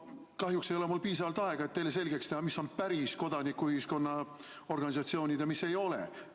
Kahjuks ei ole mul piisavalt aega, et teile selgeks teha, mis on päris kodanikuühiskonna organisatsioonid ja mis ei ole.